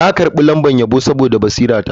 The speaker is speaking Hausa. Na karbi lambar yabo saboda basirata.